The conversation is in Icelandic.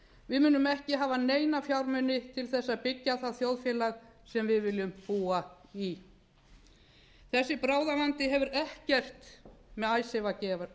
við munum ekki hafa neina fjármuni til að byggja það þjóðfélag sem við viljum búa í þessi bráðavandi hefur ekkert með icesave að